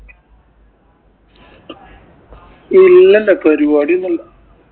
ഇല്ല പരിപാടിയൊന്നും ഇല്ല.